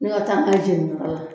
Ni ka taa n'a ye jeniniyɔrɔ la